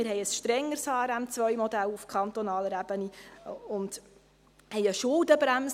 Wir haben auf kantonaler Ebene ein strengeres HRM2-Modell und haben eine Schuldenbremse.